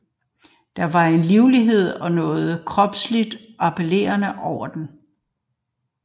Der var en livlighed og noget kropsligt appellerende over den